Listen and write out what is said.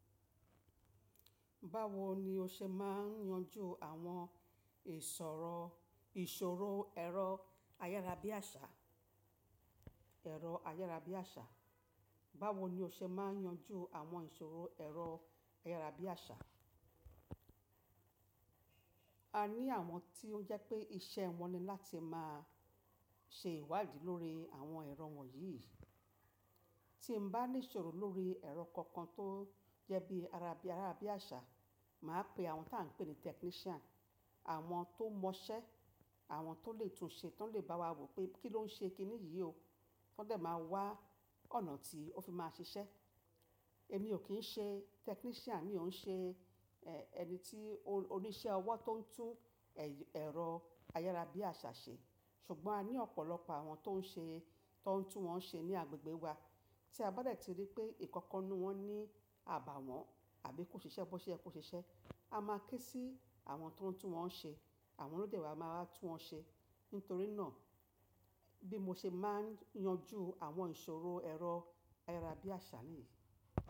Báwo ni o ṣe máa ń yanjú àwọn ìṣòro, ìṣòro ẹ̀rọ ayárabíàṣà, ẹ̀rọ ayárabíàṣà? Báwo ni o ṣe máa ń yanjú àwọn ìṣòro ẹ̀rọ ayárabíàṣà? A ní àwọn tí ó jẹ́ pé iṣẹ́ wọn ni láti máa ṣe ìwádìí lórí àwọn ẹ̀rọ wọ̀nyí. Tí mo bá ní ìṣòro lórí ẹ̀rọ kankan tó jẹ́ bí ará bí àṣà, mà á pe àwọn tí à ń pè ní technician, àwọn tó mọ iṣẹ́, àwọn tó lè tún ṣe, tó lè bá wa wò pé kí ló ń ṣe kí ni yìí o. Wọ́n de máa wá ọ̀nà tí ó fi máa ṣiṣẹ́. Èmi ò kí ń ṣe technician, mi ò ń ṣe ẹni tí oníṣẹ́ ọwọ́ tó ń tún ẹ̀rọ ayárabíàṣà ṣe. Ṣùgbọ́n a ní ọ̀pọ̀lọpọ̀ àwọn tó ń ṣe, tó ń tún wọ́n ṣe ní agbègbè wa. Tí a bá dẹ̀ ti rí pé ìkankan nú wọn ní àbàwọ́n àbí kò ṣiṣẹ́ bó ṣe ye ko ṣiṣẹ́, a máa ké sí àwọn tó ń tún wọ́n ṣe. Àwọn ló dẹ̀ wa máa wá tún wọ́n ṣe. Nítorí náà bí mo ṣe máa ń yanjú àwọn ìṣòro ẹ̀rọ ayárabíàṣà nìyí.